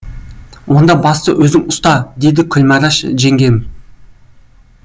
онда басты өзің ұста деді күлмәрәш жеңгем